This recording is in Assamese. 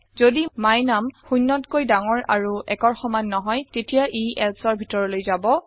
যদি my num শূন্যতকৈ০ ডাঙৰ আৰু ১ৰ সমান নহয় তেতিয়া ই elseৰ ভিতৰলৈ যাব